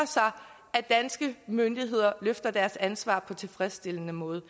at danske myndigheder løfter deres ansvar på tilfredsstillende måde